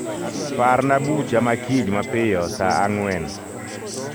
Parna bucha ma kiny mapiyo saa ang'wen.